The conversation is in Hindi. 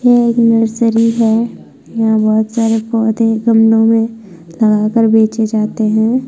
यह एक नर्सरी है यहाँ बहुत सारे पौधे गमलो मे लगाकर बेचे जाते है।